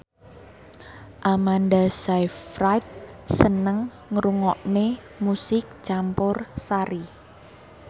Amanda Sayfried seneng ngrungokne musik campursari